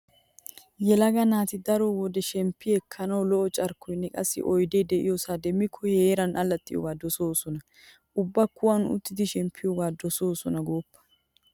Yelaga naati daro wode shemppi ekkenawu lo'o carkkoynne qassi oydee diyosaa demmikko he heeran allaxxiyoogaa dosoosona. Ubba kuwan uttidi shemppiyoga dosoosona gooppa.